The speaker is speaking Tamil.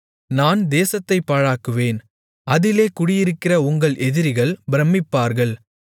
நான் தேசத்தைப் பாழாக்குவேன் அதிலே குடியிருக்கிற உங்கள் எதிரிகள் பிரமிப்பார்கள்